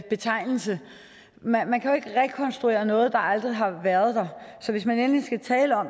betegnelse man man kan jo ikke rekonstruere noget der aldrig har været så hvis man endelig skal tale om